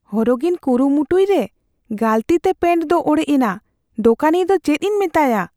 ᱦᱚᱨᱚᱜᱤᱧ ᱠᱩᱨᱩᱢᱩᱴᱩᱭ ᱨᱮ ᱜᱟᱹᱞᱛᱤ ᱛᱮ ᱯᱮᱱᱴ ᱫᱚ ᱚᱲᱮᱡ ᱮᱱᱟ ᱾ ᱫᱩᱠᱟᱹᱱᱤᱭᱟᱹ ᱫᱚ ᱪᱮᱫᱤᱧ ᱢᱮᱛᱟᱭᱟ ?